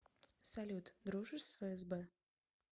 салют дружишь с фсб